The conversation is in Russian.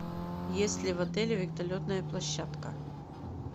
есть ли в отеле вертолетная площадка